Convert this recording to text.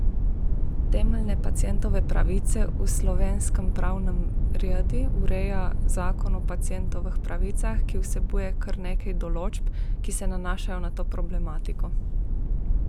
Temeljne pacientove pravice v slovenskem pravnem redu ureja Zakon o pacientovih pravicah, ki vsebuje kar nekaj določb, ki se nanašajo na to problematiko.